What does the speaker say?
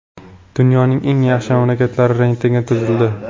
Dunyoning eng yaxshi mamlakatlari reytingi tuzildi.